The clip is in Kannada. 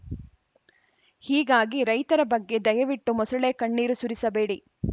ಹೀಗಾಗಿ ರೈತರ ಬಗ್ಗೆ ದಯವಿಟ್ಟು ಮೊಸಳೆ ಕಣ್ಣೀರು ಸುರಿಸಬೇಡಿ